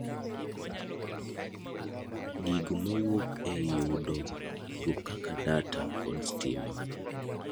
gigo mawuok ei yudo gikgo kaka data kod stima